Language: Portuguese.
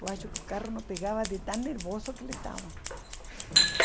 Eu acho que o carro não pegava de tão nervoso que ele estava.